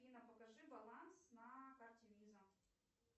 афина покажи баланс на карте виза